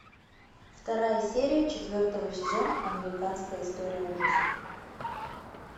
вторая серия четвертого сезона американская история ужасов